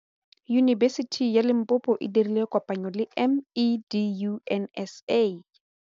Yunibesiti ya Limpopo e dirile kopanyô le MEDUNSA.